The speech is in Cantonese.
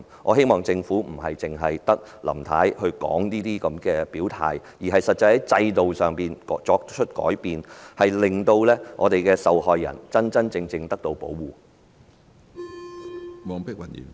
我希望整個政府不是只有林太發言表態，而是在制度上作出實質改善，讓受害人得到真正有效的保護。